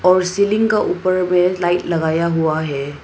और सीलिंग का ऊपर में लाइट लगाया हुआ है।